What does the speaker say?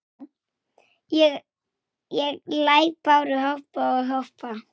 Einhver datt yfir hana.